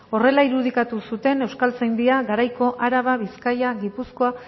horrela irudikatu zuten euskaltzaindia garaiko araba bizkaia gipuzkoa